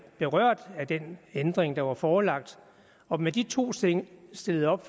berørt af den ændring der var forelagt og med de to ting stillet op